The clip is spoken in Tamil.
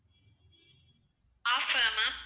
offer ஆ ma'am